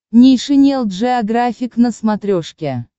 нейшенел джеографик на смотрешке